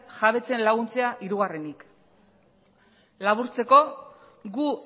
jabetzen laguntzea hirugarrenik laburtzeko gu